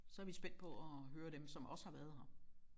Så er vi spændt på at høre dem som også har været her